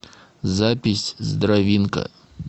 запись здравинка